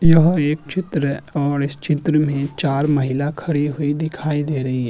यह एक चित्र है ओर इस चित्र में चार महिला खडी हुई दीखाई दे रही है।